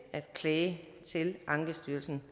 klage til ankestyrelsen